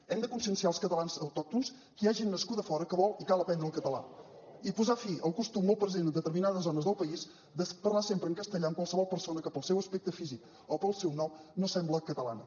hem de conscienciar els catalans autòctons que hi ha gent nascuda a fora que vol i cal aprendre el català i posar fi al costum molt present en determinades zones del país de parlar sempre en castellà amb qualsevol persona que pel seu aspecte físic o pel seu nom no sembla catalana